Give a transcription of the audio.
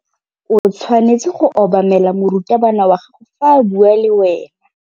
O tshwanetse go obamela morutabana wa gago fa a bua le wena.